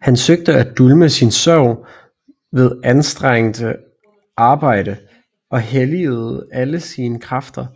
Han søgte at dulme sin sorg ved anstrengt arbejde og helligede alle sine kræfter